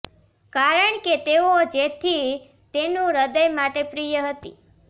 કારણ કે તેઓ જેથી તેનું હૃદય માટે પ્રિય હતી